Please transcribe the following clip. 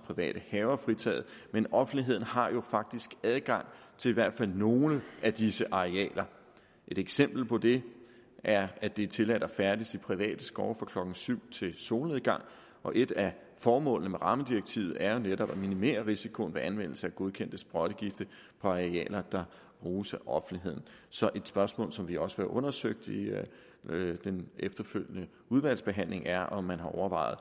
private haver fritaget men offentligheden har faktisk adgang til i hvert fald nogle af disse arealer et eksempel på det er at det er tilladt at færdes i private skove fra klokken syv til solnedgang og et af formålene med rammedirektivet er jo netop at minimere risikoen ved anvendelse af godkendte sprøjtegifte på arealer der bruges af offentligheden så et spørgsmål som vi også undersøgt i den efterfølgende udvalgsbehandling er om man har overvejet